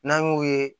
N'an y'o ye